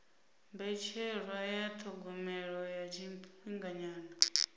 mbetshelwa ya thogomelo ya tshifhinganyana